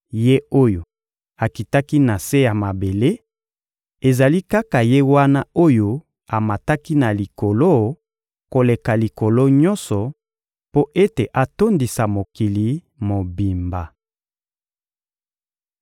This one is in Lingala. Ye oyo akitaki na se ya mabele, ezali kaka Ye wana oyo amataki na likolo koleka Likolo nyonso, mpo ete atondisa mokili mobimba.